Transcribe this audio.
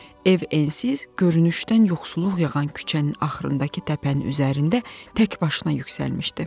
Ev ensiz, görünüşdən yoxsulluq yağan küçənin axırındakı təpənin üzərində tək başına yüksəlmişdi.